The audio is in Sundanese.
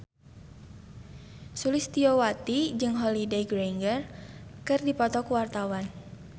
Sulistyowati jeung Holliday Grainger keur dipoto ku wartawan